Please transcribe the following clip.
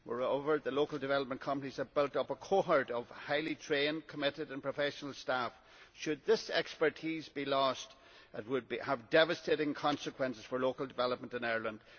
Moreover, local development companies have built up a cohort of highly trained, committed and professional staff. Should this expertise be lost, it would have devastating consequences for local development in Ireland.